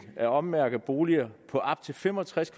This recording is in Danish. at ommærke boliger på op til fem og tres